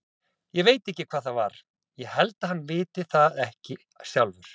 Ég veit ekki hvað það var, ég held hann viti það ekki sjálfur.